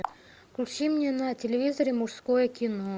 включи мне на телевизоре мужское кино